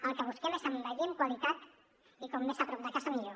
el que busquem és envellir amb qualitat i com més a prop de casa millor